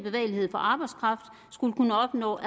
for arbejdskraft skulle kunne opnå